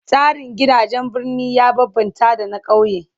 Tsarin gidajen birni ya bambamta da na kauye